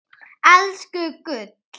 Elsku gull.